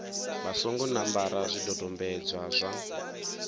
vha songo ṋambara zwidodombedzwa zwa